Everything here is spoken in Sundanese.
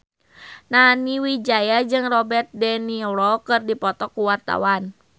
Nani Wijaya jeung Robert de Niro keur dipoto ku wartawan